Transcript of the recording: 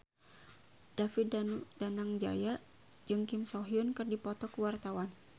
David Danu Danangjaya jeung Kim So Hyun keur dipoto ku wartawan